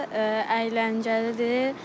Əyləncəlidir.